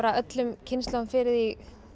öllum kynslóðum fyrir því